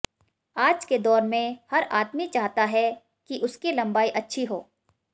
आज के दौर में हर आदमी चाहता है कि उसकी लम्बाई अच्छी हो